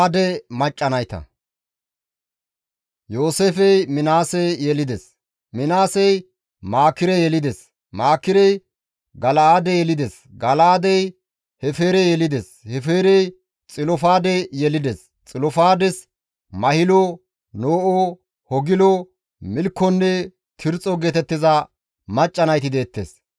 Yooseefey Minaase yelides; Minaasey Maakire yelides; Maakirey Gala7aade yelides; Gala7aadey Hefeere yelides; Hefeerey Xilofaade yelides; Xilofaades mahilo, No7o, Hogilo, Milkkonne Tirxxo geetettiza macca nayti deettes.